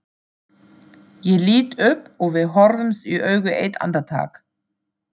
Ég lít upp og við horfumst í augu eitt andartak.